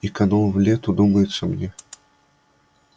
и канул в лету думается мне